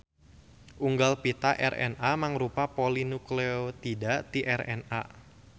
Unggal pita RNA mangrupa polinukleotida ti RNA.